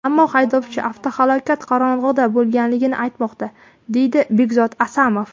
Ammo haydovchi avtohalokat qorong‘ida bo‘lganligini aytmoqda”, deydi Bekzod Asamov.